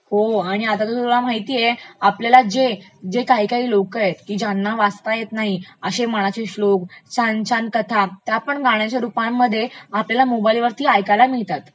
हो, आता तर तुला माहितेय आपल्याला जे काही काही लोक आहेत की ज्यांनी वाचता येत नाही अश्ये मनाते श्लोक, छान छान कथा त्यापण गाण्यच्या रुपामध्ये आपल्याला मोबाइलवरती ऐकायला मिळतात